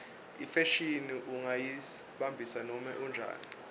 ifashini ungayimbatsa noma njani